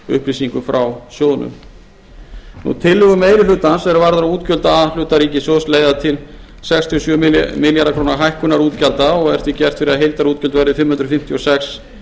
upplýsingum frá sjóðnum tillögur meiri hlutans er varða útgjöld a hluta ríkissjóðs leiða til sextíu og sjö milljarða króna hækkunar útgjalda og er gert ráð fyrir að heildarútgjöld verði fimm hundruð fimmtíu og sex